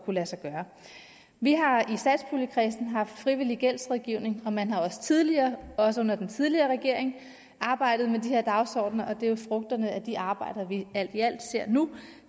lade sig gøre vi har i satspuljekredsen haft frivillig gældsrådgivning og man har tidligere også under den tidligere regering arbejdet med de her dagsordener og det er jo frugterne af de arbejder vi alt i alt ser nu